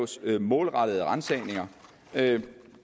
sker målrettede ransagninger